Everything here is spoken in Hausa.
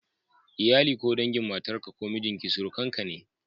Iyali ko dangin matarka ko mijinki surukanka ne.